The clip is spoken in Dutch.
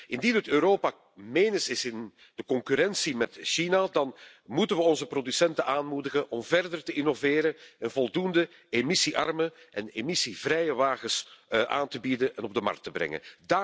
Indien het Europa menens is in de concurrentie met China, dan moeten we onze producenten aanmoedigen om verder te innoveren en voldoende emissiearme en emissievrije voertuigen aan te bieden en op de markt te brengen.